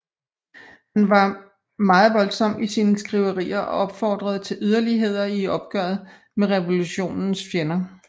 Han var meget voldsom i sine skriverier og opfordrede til yderligheder i opgøret med revolutionens fjender